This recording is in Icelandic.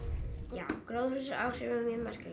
já gróðurhúsaáhrifin eru mjög merkileg